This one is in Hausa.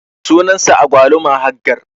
sunan sa agwaluma Haggar.